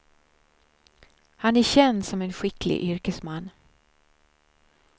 Han är känd som en skicklig yrkesman.